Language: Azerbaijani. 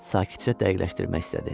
Sakitcə dəqiqləşdirmək istədi.